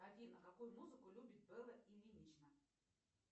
афина какую музыку любит белла ильинична